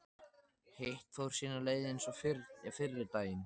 Hitt fór sína leið eins og fyrri daginn.